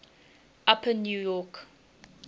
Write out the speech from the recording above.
upper new york